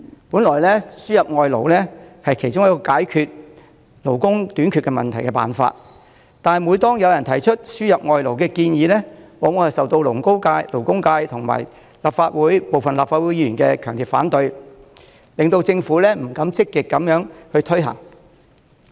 本來輸入外勞是其中一個解決勞工短缺問題的辦法，但每當有人提出輸入外勞的建議，往往便受勞工界及部分立法會議員的強烈反對，令政府不敢積極推行。